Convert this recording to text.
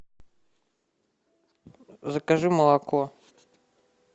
закажи молоко